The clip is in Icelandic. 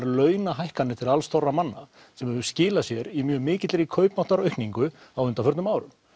launahækkanir til manna sem hefur skilað sér í mjög mikilli kaupmáttaraukningu á undanförnum árum